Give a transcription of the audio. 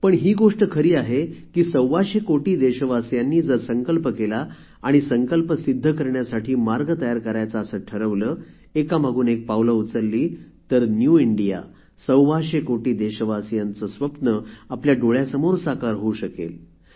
पण ही गोष्ट खरी आहे की सव्वाशे कोटी देशवासीयांनी जर संकल्प केला आणि संकल्प सिद्ध करण्यासाठी मार्ग तयार करायचा असे ठरवले एका मागून एक पावले उचलली तर न्यू इंडिया सव्वाशे कोटी देशवासियांचे स्वप्न आपल्या डोळ्यासमोर साकार होऊ शकेल